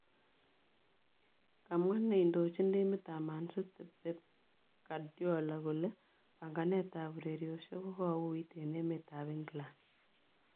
Komwa ne indochin timit ab Man City Pep Guardiola kole panaganet ab ureriosiek kokouwit en emet ab England